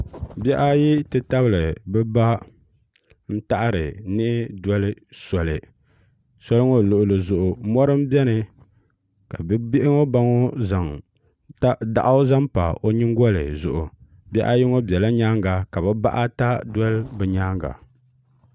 bihi ayi ti tabili bi ba n taɣari niɣi doli soli sɔli ŋɔ luɣuli zuɣu mɔri n biɛni ka bihi ŋɔ ba ŋɔ zaŋ daɣu zaŋ pa o nyingoli zuɣu bihi ayi ŋɔ biɛla nyaanga ka bi bahi ata dɔli ni nyaanga